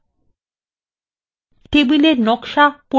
টেবিলের নকশা পরিমার্জিত করা